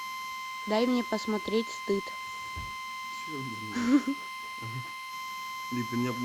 дай мне посмотреть стыд